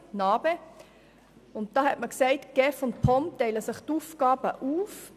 Es wurde bestimmt, dass die GEF und die POM sich die Aufgaben teilen.